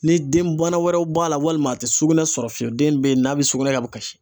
Ni den bana wɛrɛw b'a la walima a tɛ sugunɛ sɔrɔ fiyewu den bɛ ye n'a bɛ sugunɛ kɛ a bɛ kasi.